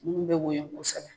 Munnu be woyo kosɛkɛ